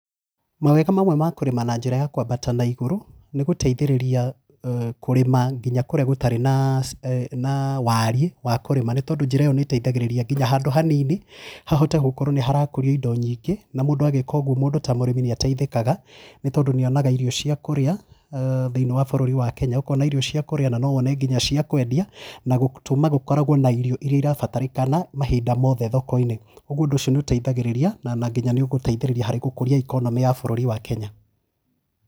Mawega mamwe ma kũrĩma na njĩra ya kwambata na igũrũ nĩ gũteithĩrĩria nginya kũrĩma kũrĩa gũtarĩ na waariĩ wa kũrĩma nĩ tondũ njĩra ĩyo nĩĩteithagĩrĩria nginya handũ hanini hahote gũkorwo hagĩkũrio indo nyingĩ na mũndũ agĩka ũguo mũndũ ta mũrĩmi nĩateithĩkaga na agakorwo akĩona irio cia kũrĩa thĩinĩ wa bũrũri wa Kenya, ũkona irio cia kũrĩa na no wone nginya cia kwendia na gũtũmaga gũkorwo na irio iria irabatarĩkana mahinda mothe thoko-inĩ. Ũguo ũndũ ũcio nĩũteithagia na nĩũteithagĩrĩria nginya gũkũria economy ya bũrũri wa Kenya.